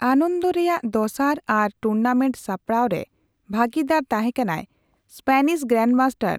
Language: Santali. ᱟᱱᱚᱱᱫᱚ ᱨᱮᱭᱟᱜ ᱫᱚᱥᱟᱨ ᱟᱨ ᱴᱩᱨᱱᱟᱢᱮᱴ ᱥᱟᱯᱲᱟᱣ ᱨᱮ ᱵᱷᱟᱹᱜᱤᱫᱟᱨ ᱛᱟᱦᱮᱸ ᱠᱟᱱᱟᱭ ᱮᱥᱯᱮᱱᱤᱥ ᱜᱨᱟᱱᱰᱢᱟᱥᱴᱟᱨ